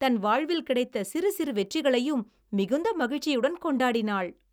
தன் வாழ்வில் கிடைத்த சிறு சிறு வெற்றிகளையும் மிகுந்த மகிழ்ச்சியுடன் கொண்டாடினாள்.